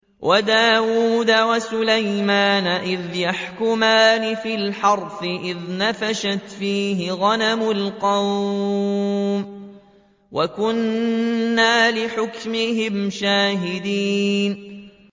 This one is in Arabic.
وَدَاوُودَ وَسُلَيْمَانَ إِذْ يَحْكُمَانِ فِي الْحَرْثِ إِذْ نَفَشَتْ فِيهِ غَنَمُ الْقَوْمِ وَكُنَّا لِحُكْمِهِمْ شَاهِدِينَ